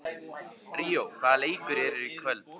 Ríó, hvaða leikir eru í kvöld?